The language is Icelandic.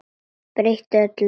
Breytir öllu.